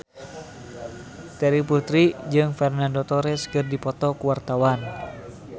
Terry Putri jeung Fernando Torres keur dipoto ku wartawan